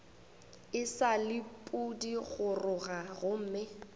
e sa le pudigoroga gomme